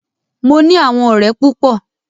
Mo ní àwọn ọ̀rẹ́ púpọ.